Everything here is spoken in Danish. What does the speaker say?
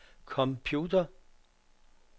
computer